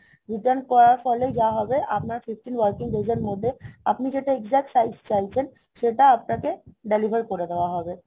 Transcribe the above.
return করার ফলে যা হবে আপনার fifteen working days এর মধ্যে আপনি যে exact size চাইছেন সেটা আপনাকে deliver করে দেয়া হবে